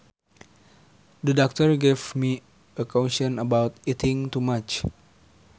The doctor gave me a caution about eating too much